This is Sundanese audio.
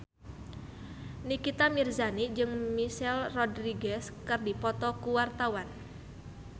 Nikita Mirzani jeung Michelle Rodriguez keur dipoto ku wartawan